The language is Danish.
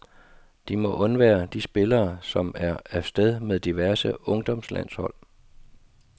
De må undvære de spillere som er af sted med diverse ungdomslandshold.